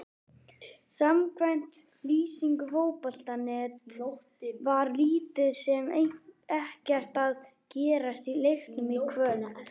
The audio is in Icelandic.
Samkvæmt lýsingu Fótbolta.net var lítið sem ekkert að gerast í leiknum í kvöld.